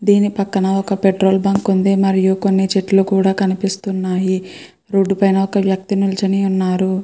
దీని పక్కన ఒక పెట్రోల్ బంక్ ఉంది. మరియు కొన్ని చెట్లు కూడ కనిపిస్తున్నాయి. రోడ్డు పైన ఒక వ్యక్తి నిల్చొని ఉన్నారు.